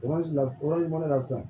mana na sisan